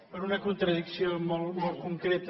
per una contradicció molt concreta